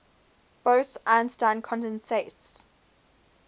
bose einstein condensates